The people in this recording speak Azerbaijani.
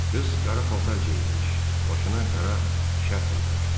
Qız qara paltar geyinmiş, başına qara şərf örtmüşdü.